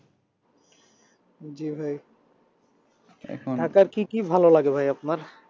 জি ভাই ঢাকার কি কি ভালো লাগে ভাই আপনার?